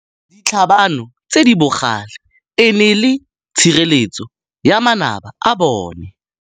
Ditlhabanô tse di bogale e ne e le tshirêlêtsô ya manaba a bone.